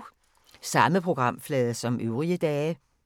Samme programflade som øvrige dage